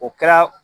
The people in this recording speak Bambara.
O kɛra